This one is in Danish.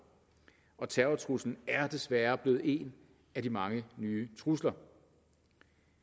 og terrortruslen er desværre blevet en af de mange nye trusler